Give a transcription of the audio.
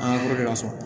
An ka ka sɔrɔ